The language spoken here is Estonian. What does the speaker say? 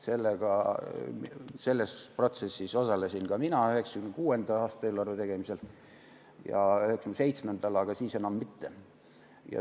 Selles protsessis osalesin ka mina 1996. aasta eelarve tegemisel ja 1997. aastal, aga siis enam mitte.